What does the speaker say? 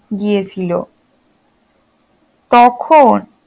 গিয়েছিল তখন